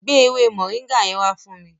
Gbé ewé Moringa yẹn wá fún mi.